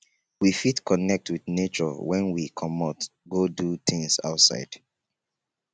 we fit connect with nature when we comot go do things outside